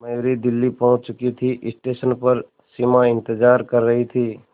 मयूरी दिल्ली पहुंच चुकी थी स्टेशन पर सिमा इंतेज़ार कर रही थी